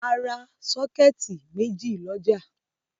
A ra sọ́kẹ́tì méjì lọ́jà.